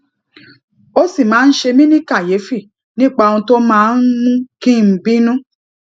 o sì máa ń ṣe mi ni kàyéfì nípa ohun tó máa ń mú kí n bínú